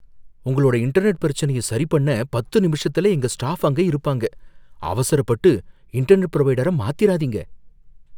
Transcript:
உங்களோட இன்டர்நெட் பிரச்சனையை சரிபண்ண பத்து நிமிஷத்துல எங்க ஸ்டாஃப் அங்க இருப்பாங்க, அவசரப்பட்டு இன்டர்நெட் புரொவைடரை மாத்திறாதீங்க.